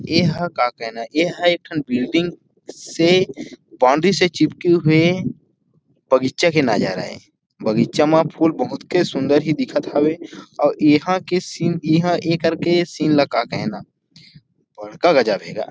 ऐहा का कहना हे ऐहा एक ठन बिल्डिंग से बॉउंड्री से चिपके हुए बगीचा के नजारा ये बगीचा में फूल बहुत के सुंदर ही दिखत हवे अउ इहाँ के सीन इहां इ कर के सीन ला का कहना बड़का गज़ब हे गा।